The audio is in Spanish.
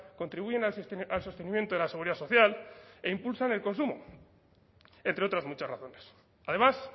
contribuyen al sostenimiento de la seguridad social e impulsan el consumo entre otras muchas razones además